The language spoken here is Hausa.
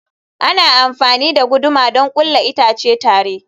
Ana amfani da guduma don ƙulla itace tare.